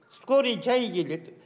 скорый жай келеді